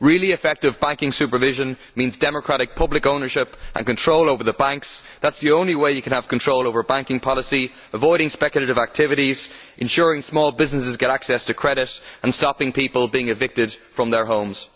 Really effective banking supervision means democratic public ownership and control over the banks, which is the only way you can have control over banking policy avoiding speculative activities, ensuring that small businesses can get access to credit, and stopping people being evicted from their homes.